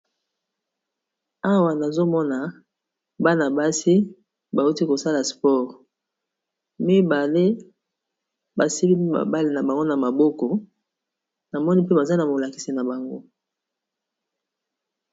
Awa nazomona bana-basi bauti kosala sport mibale basimbi ndembo na bango na maboko namoni mpe baza na molakisi na bango